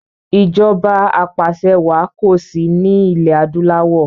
Ìjọba apàṣẹwà kosi ni ilẹ̀ adúláwọ̀